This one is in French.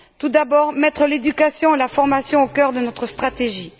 Tout d'abord, mettre l'éducation et la formation au cœur de notre stratégie.